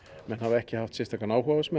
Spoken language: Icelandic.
menn hafa ekki haft sérstakan áhuga á þessu